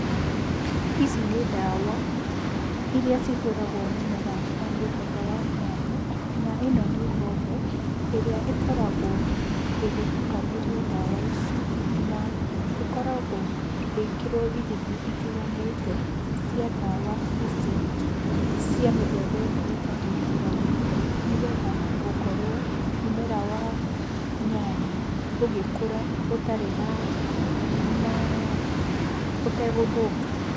Ici nĩ ndawa, iria cihũragwo mũmera wa mũthemba wa nyanya na ĩno nĩ mbombo, ĩrĩa ĩkoragwo ĩgĩtukanĩrio ndawa ici, na ĩkoragwo ĩgĩkĩrwo ithimi itiganĩte cia ndawa ici cia mĩthemba ĩno ĩtatũ itiganĩte nĩgetha gũkorwo mũmera wa nyanya gũkura ũtarĩ na ũtegũthũka.